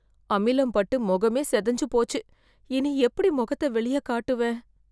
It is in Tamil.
அமிலம் பட்டு முகமே சிதஞ்சு போச்சு இனி எப்படி மொகத்த வெளிய காட்டுவேன்